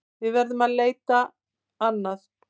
Við verðum að leita annað.